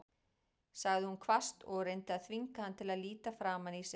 sagði hún hvasst og reyndi að þvinga hann til að líta framan í sig.